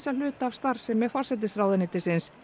hluta af starfsemi forsætisráðuneytisins